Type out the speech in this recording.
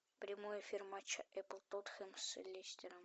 прямой эфир матча апл тоттенхэм с лестером